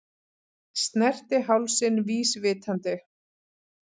Snerti hálsinn vísvitandi.